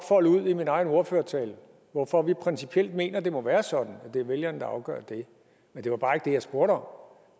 folde ud i min egen ordførertale hvorfor vi principielt mener at det må være sådan at det er vælgerne der afgør det men det var bare ikke det jeg spurgte om